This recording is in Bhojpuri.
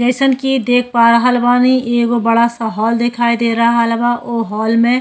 जइसन कि देख पा रहल बानी एगो बड़ा सा हॉल देखाई दे रहल बा। ओ हॉल में --